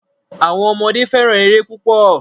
Àwọn ọmọdé fẹ́ràn eré púpọ̀.